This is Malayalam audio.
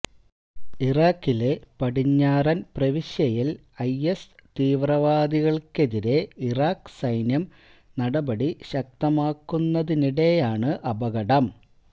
ഇറാഖിലെ പടിഞ്ഞാറന് പ്രവിശ്യയില് ഐഎസ് തീവ്രവാദികള്ക്കെതിരെ ഇറാഖ് സൈന്യം നടപടി ശക്തമാക്കുന്നതിനിടെയാണ് അപകടം